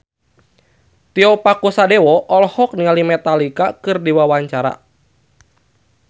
Tio Pakusadewo olohok ningali Metallica keur diwawancara